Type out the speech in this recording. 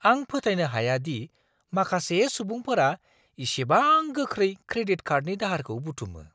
आं फोथायनो हाया दि माखासे सुबुंफोरा इसेबां गोख्रै क्रेडिट कार्डनि दाहारखौ बुथुमो!